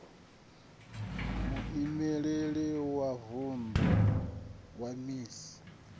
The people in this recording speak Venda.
muimeleli wa vunḓu wa iss